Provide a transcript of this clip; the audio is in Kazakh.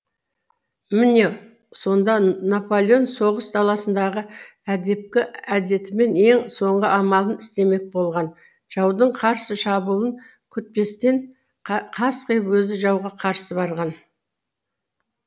міне сонда наполеон соғыс даласындағы әдепкі әдетімен ең соңғы амалын істемек болған жаудың қарсы шабуылын күтпестен қасқиып өзі жауға қарсы барған